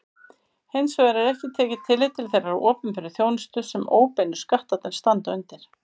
Hins vegar er ekki tekið tillit til þeirrar opinberu þjónustu sem óbeinu skattarnir standa undir.